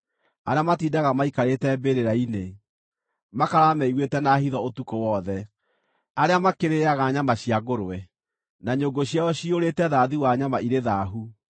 arĩa matindaga maikarĩte mbĩrĩra-inĩ, makarara meiguĩte na hitho ũtukũ wothe; arĩa makĩrĩĩaga nyama cia ngũrwe, na nyũngũ ciao ciyũrĩte thaathi wa nyama irĩ thaahu;